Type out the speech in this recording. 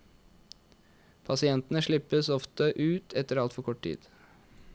Pasientene slippes ofte ut etter altfor kort tid.